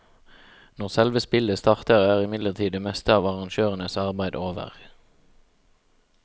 Når selve spillet starter er imidlertid det meste av arrangørenes arbeid over.